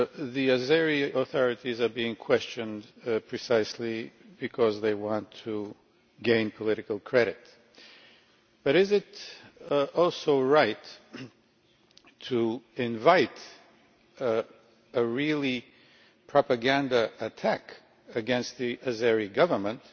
The Azerbaijani authorities are being questioned precisely because they want to gain political credit but is it also right to invite what is really a propaganda attack against the Azerbaijani Government